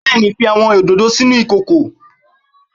Bẹẹni, fi awọn ododo sinu ikoko